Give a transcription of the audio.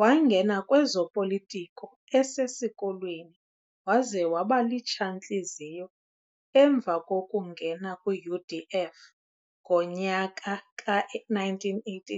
Waangena kwezopolitiko esesikolweni waze wabali litshantliziyo emva kokungena kwiUDF ngonyaka ka-1980.